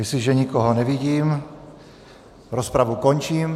Jestliže nikoho nevidím, rozpravu končím.